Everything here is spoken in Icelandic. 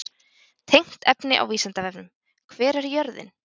Tengt efni á Vísindavefnum: Hver er jörðin?